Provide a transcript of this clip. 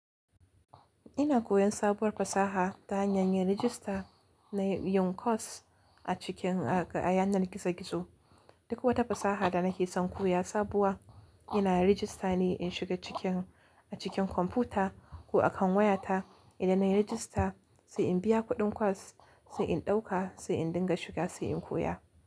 Ina koyan sabuwar fasaha ta hanyar rajista na yin kwas a cikin a yanar gizo gizo. Duk wata fasaha da nake son koya sabuwa ina rajista ne in shiga cikin a cikin kwamfuta ko akan wayata. Idan nayi rajista sai in biya kuɗin kwas, sai in ɗauka, sai in dinga shiga sai in koya.